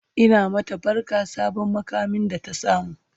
Ina mata barka sabon muƙamin da ta samu